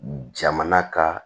Jamana ka